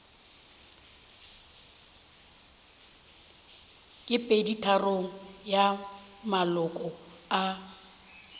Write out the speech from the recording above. ke peditharong ya maloko a